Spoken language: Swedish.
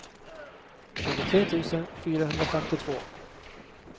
tjugotre tusen fyrahundrafemtiotvå